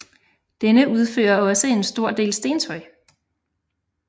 Denne udfører også en stor del stentøj